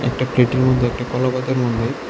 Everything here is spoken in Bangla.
একটা প্লেটের মধ্যে একটা কলাপাতার মধ্যে--